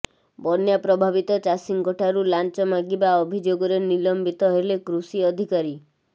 ବନ୍ୟା ପ୍ରଭାବିତ ଚାଷୀଙ୍କଠାରୁ ଲାଞ୍ଚ ମାଗିବା ଅଭିଯୋଗରେ ନିଲମ୍ବିତ ହେଲେ କୃଷି ଅଧିକାରୀ